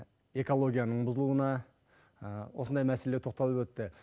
экологияның бұзылуына осындай мәселеге тоқталып өтті